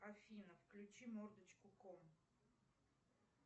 афина включи мордочку ком